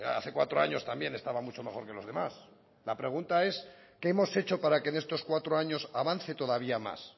hace cuatro años también estaba mucho mejor que los demás la pregunta es qué hemos hecho para que en estos cuatro años avance todavía más